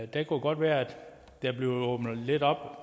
det kunne godt være at der bliver åbnet lidt op